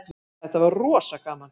Þetta var rosa gaman.